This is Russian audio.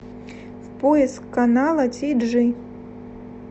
поиск канала ти джи